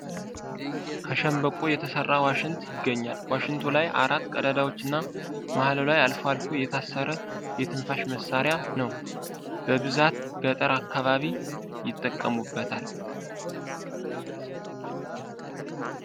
ከሸንበቆ የተሰራ ዋሽንት ይገኛል ዋሽንቱ ላይ አራት ቀዳዳዎች እና መሀሉ ላይ አልፎ አልፎ የታሰረ የትንፋሽ መሳሪያ ነው ። በብዛት ገጠር አካባቢ ይጠቀሙታል ።